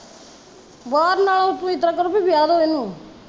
ਬਾਹਰ ਨਾਲੋਂ ਤਾਂ ਤੁਸੀਂ ਏਦਾਂ ਕਰੋਂ ਵੀ ਵਿਆਹ ਦੋ ਏਹਨੂੰ